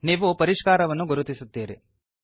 ನೀವು ಪರಿಷ್ಕಾರವನ್ನು ಗುರುತಿಸುತ್ತೀರಿ